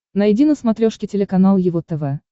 найди на смотрешке телеканал его тв